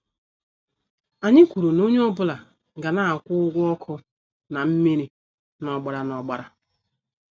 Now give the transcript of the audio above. Anyị kwụrụ na-onye ọ bụla ga- na akwụ ụgwọ ọkụ na mmiri na- ọgbara na- ọgbara.